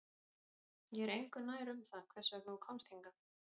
Ég er engu nær um það hvers vegna þú komst hingað